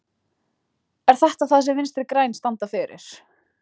Er þetta það sem Vinstri grænir standa fyrir?